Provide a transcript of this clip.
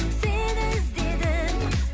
сені іздедім